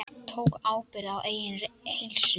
Tók ábyrgð á eigin heilsu.